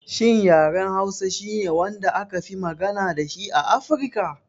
Shin yaren Hausa shine wanda akafi magana dashi a Afirka?